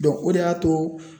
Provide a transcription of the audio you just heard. o de y'a to